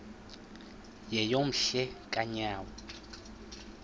yeyom hle kanyawo